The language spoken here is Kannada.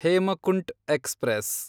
ಹೇಮಕುಂಟ್ ಎಕ್ಸ್‌ಪ್ರೆಸ್